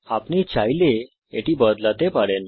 আপনি চাইলে এটি বদলাতে পারেন